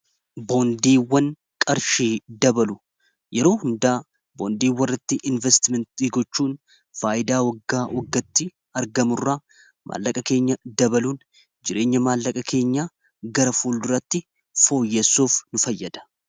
boondiiwwan qarshii dabalu yeroo hundaa boondii walltti investmentii gochuun faayidaa waggaa waggatti argamurraa maallaqa keenya dabaluun jireenya maallaqa keenya gara fuul duratti fooyyessuuf nu fayyada